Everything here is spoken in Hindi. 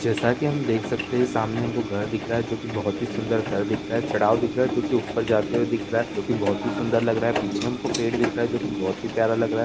जैसा कि हम देख सकते हैं सामने हमको घर दिख रहा है जोकि बोहत ही सुंदर घर दिख रहा है। चढाव दिख रहा है जोकि ऊपर जाते हुए दिख रहा है जोकि बोहत ही सुंदर लग रहा है। पीछे हमको पेड़ दिख रहा है जोकि बोहत ही प्यारा लग रहा --